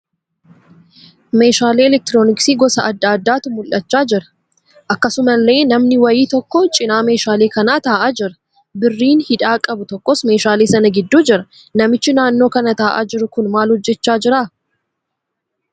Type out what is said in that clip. Meeshaalee 'elektirooniksii' gosa adda addaatu mul'achaa jira. Akkasumallee namni wayii tokko cina meeshaalee kanaa ta'aa jira. Birriin hidhaa qabu tokkos meeshaalee sana gidduu jira. Namichi naannoo kana ta'aa jiru kun maal hojjechaa jira?